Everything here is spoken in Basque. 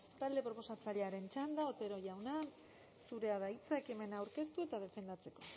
talde proposatzailearen txanda otero jaunak zurea da hitza ekimena aurkeztu eta defendatzeko